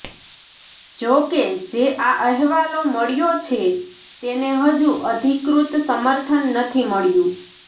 જો કે જે આ અહેવાલો મળ્યો છે તેને હજુ અધિકૃત સમર્થન નથી મળ્યું